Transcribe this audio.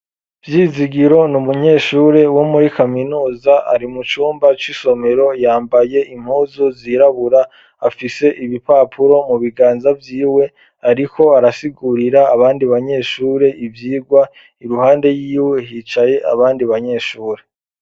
Vyizigiro ni umunyeshure wo muri kaminuza ari mu cumba c'isomero, yambaye impuzu zirabura, afise ibipapuro mu biganza vyiwe, ariko arasigurira abandi banyeshure ivyigwa, iruhande yiwe hicaye abandi banyeshure.